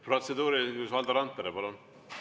Protseduuriline küsimus, Valdo Randpere, palun!